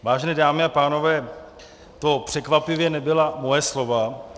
Vážené dámy a pánové, to překvapivě nebyla moje slova.